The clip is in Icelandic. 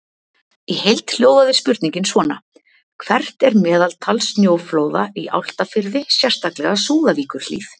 Í heild hljóðaði spurningin svona: Hvert er meðaltal snjóflóða í Álftafirði, sérstaklega Súðavíkurhlíð?